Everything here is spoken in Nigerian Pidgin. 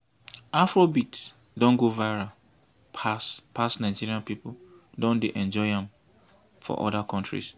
afrobeat don go viral pass pass nigeria pipo don dey enjoy am for oda countries